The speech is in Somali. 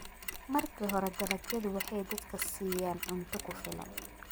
Marka hore, dalagyadu waxay dadka siiyaan cunto ku filan.